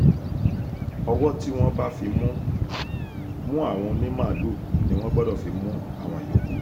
ọwọ́ tí wọ́n bá fi mú mú àwọn onímaalùú ni wọ́n gbọ́dọ̀ fi mú àwọn yòókù